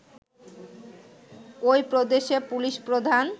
ঐ প্রদেশের পুলিশ প্রধান